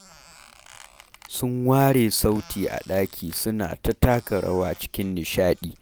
Sun ware sauti a ɗaki suna ta taka rawa cikin nishaɗi